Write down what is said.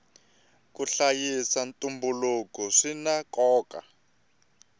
ku hlayisa ntumbuluko swina nkoka